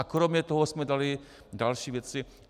A kromě toho jsme dali další věci.